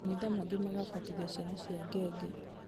makanitha mangĩ magabatithia ciana cia ngenge